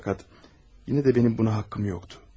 Fəqət yenə də mənim buna haqqım yox idi.